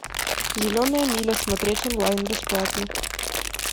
зеленая миля смотреть онлайн бесплатно